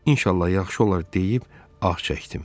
İnşallah yaxşı olar deyib, ağ çəkdim.